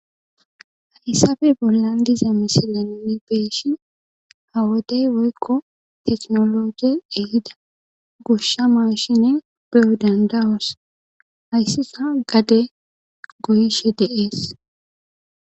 Hisape bollan diza misilen nuuni be7ishin ha wodee woykko theknooloojee keehidi goshsha maashinee be7o dandda7oos;haysika gade goyishee de7ees.